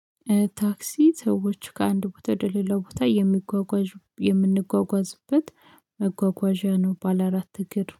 ታክሲ ሰዎች ከአንድ ቦታ ወደ ሌላ ቦታ የሚጓጓዢ የምንጓጓዝበት መጓጓዣ ነው። ባለ አራት እግር